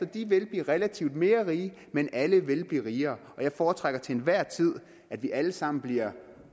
de vil blive relativt mere rige men alle vil blive rigere og jeg foretrækker til enhver tid at vi alle sammen bliver